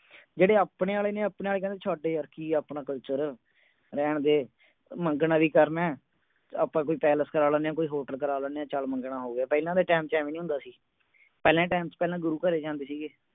ਜਿਹੜੇ ਆਪਣੇ ਆਲੇ ਨੇ ਆਪਣੇ ਆਲੇ ਕਹਿੰਦੀ ਛੱਡ ਯਾਰ ਕੀ ਆਪਣਾ culture ਰਹਿਣ ਦੇ ਮੰਗਣਾ ਵੀ ਕਰਨਾ ਹੈ ਆਪਾਂ ਕੋਈ palace ਕਰਾ ਲੈਨੇਂ ਆਂ ਕੋਈ hotel ਕਰਾ ਲੈਨੇਂ ਆਂ ਚੱਲ ਮੰਗਣਾ ਹੋ ਗਿਆ ਪਹਿਲਾਂ ਦੇ time ਚ ਏਦਾਂ ਨਹੀਂ ਹੁੰਦਾ ਸੀ ਪਹਿਲਾਂ ਦੇ time ਚ ਪਹਿਲਾ ਗੁਰੂ ਘਰੇ ਜਾਂਦੇ ਸੀਗੇ